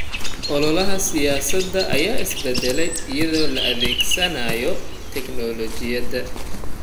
Ololaha siyaasadeed ayaa isbedelay iyadoo la adeegsanayo tignoolajiyada.